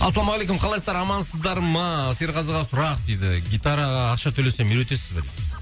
ассалаумағалейкум қалайсыздар амансыздар ма серғазыға сұрақ дейді гитараға ақша төлесем үйретесіз бе дейді